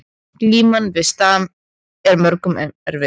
Glíman við stam er mörgum erfið